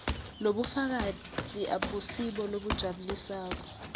lobufakazi abusibo lobujabulisako